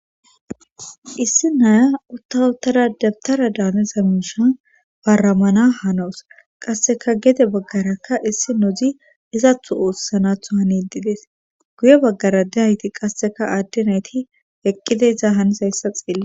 Issi naya uttawutara dabtara daanezamishan baramana hanowus qasseka gede baggarakka issi nozi izathu oossanatho hanididees guye baggara de hayti qasseka aaddinayti eqqide iza hanis hayssa xeelli.